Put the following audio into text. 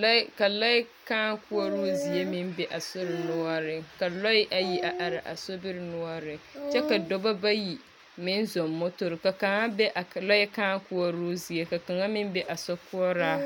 Lɔɛ ka lɔɛɛ kãã koɔroo zie meŋ be a sobiri noɔreŋ, ka lɔɛ ayi are araa sobiri noɔreŋ. Kyɛ ka dɔbɔ bayi meŋ zɔŋ motori ka kaŋa be a lɔɛ kãã koɔroo zie ka kaŋa meŋ be a sokoɔraa.